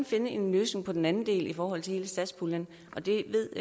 finde en løsning på den anden del i forhold til hele satspuljen det ved